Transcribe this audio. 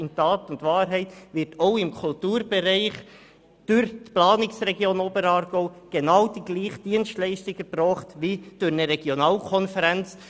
In Tat und Wahrheit wird auch im Kulturbereich die genau gleiche Dienstleistung durch die Planungsregion Oberaargau erbracht wie durch eine Regionalkonferenz.